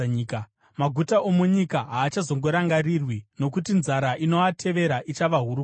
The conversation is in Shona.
Maguta omunyika haachazorangarirwi, nokuti nzara inoatevera ichava huru kwazvo.